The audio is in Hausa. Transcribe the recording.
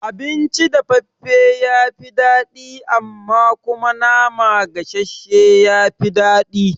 Abinci dafaffafe ya fi daɗi amma kuma nama gasashshe ya fi daɗi